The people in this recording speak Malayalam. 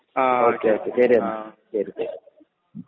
ആ ഓക്കേ ഓക്കേ ശരിയെന്ന